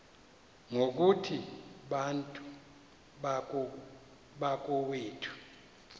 ngokuthi bantu bakowethu